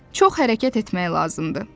Çox hərəkət etmək lazımdır.